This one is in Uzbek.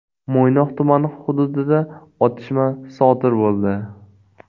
Mo‘ynoq tumani hududida otishma sodir bo‘ldi.